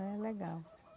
É legal.